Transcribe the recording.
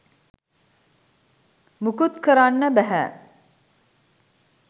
මුකුත් කරන්න බැහැ.